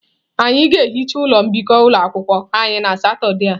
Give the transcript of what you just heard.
Anyị ga-ehicha ụlọ mbikọ ụlọ akwụkwọ anyị na Satọde a.